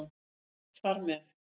Þar með